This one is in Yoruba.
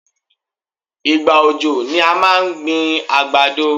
Ìgbà òjò ni à máa ń gbin àgbàdo.